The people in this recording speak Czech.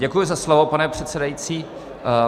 Děkuji za slovo, pane předsedající.